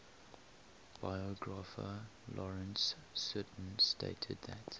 biographer lawrence sutin stated that